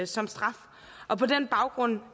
som straf og på den baggrund